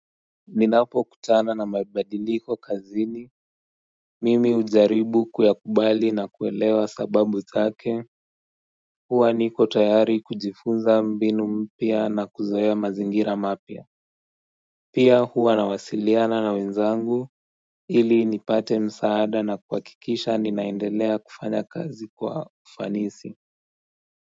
Ninapokutana na mabadiliko kazini Mimi hujaribu kuyakubali na kuelewa sababu zake huwa niko tayari kujifunza mbinu mpya na kuzoea mazingira mapya Pia huwa nawasiliana na wenzangu ili nipate msaada na kwa kuhakikisha ninaendelea kufanya kazi kwa ufanisi.